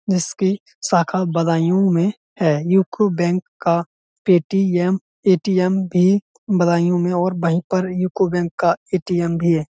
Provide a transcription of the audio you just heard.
जिसकी शाखा बदायूँ में है। यूको बैंक का पेटीएम ए.टी.एम. भी बदायूँ में और वही पर यूको बैंक का ए.टी.एम. भी है।